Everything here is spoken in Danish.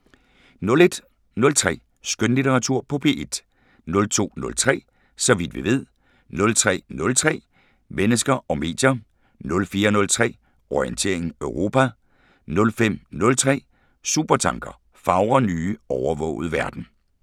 01:03: Skønlitteratur på P1 02:03: Så vidt vi ved 03:03: Mennesker og medier 04:03: Orientering Europa 05:03: Supertanker: Fagre nye, overvågede verden